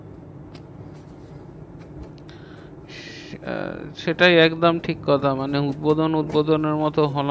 আহ সেটাই একদম ঠিক কথা মানে উদ্বোধন উদ্বোধনের মতো হলেও